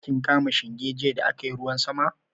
Kin kama shinge jiya da aka yi ruwan sama?